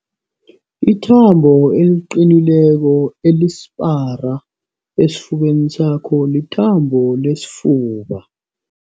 Ithambo eliqinileko elisipara esifubeni sakho lithambo lesifuba.